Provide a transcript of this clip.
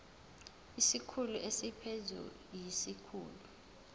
isikhulu esiphezulu siyisikhulu